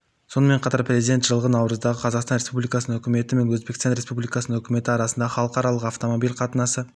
сонымен қатар президент жылғы наурыздағы қазақстан республикасының үкіметі мен өзбекстан республикасының үкіметі арасындағы халықаралық автомобиль қатынасы